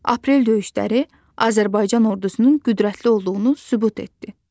Aprel döyüşləri Azərbaycan ordusunun qüdrətli olduğunu sübut etdi.